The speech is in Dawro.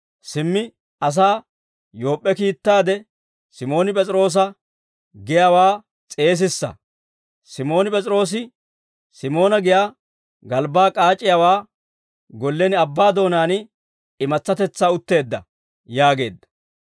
Simmi asaa Yoop'p'e kiittaade, Simooni P'es'iroosa giyaawaa s'eesissa; Simooni P'es'iroosi Simoona giyaa galbbaa k'aac'c'iyaawaa gollen abbaa doonaan imatsatetsaa utteedda› yaageedda.